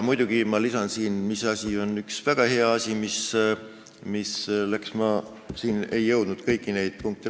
Ma lisan siia ühe väga hea asja, mis läbi läks .